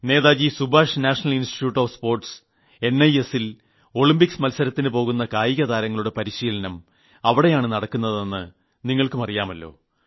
Netaji Subhash national institute of sports എൻഐഎസ്ൽ Olympics മത്സരത്തിന് പോകുന്ന കായിക താരങ്ങളുടെ പരിശീലനം അവിടെയാണ് നടക്കുന്നതെന്ന് നിങ്ങൾക്കും അറിയുമല്ലോ